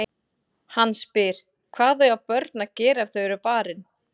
Hann spyr: Hvað eiga börn að gera ef þau eru barin?